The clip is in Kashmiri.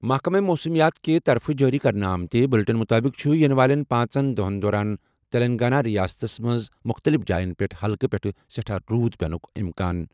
محکمہٕ موسمیات کہِ طرفہٕ جٲری کرنہٕ آمٕتہِ بلیٹن مُطٲبِق چھُ یِنہٕ والٮ۪ن پانٛژن دۄہَن دوران تیٚلنٛگانہ رِیاستَس منٛز مُختٔلِف جایَن پٮ۪ٹھ ہلکہٕ پٮ۪ٹھٕ سٮ۪ٹھاہ روٗد پیٚنُک اِمکان۔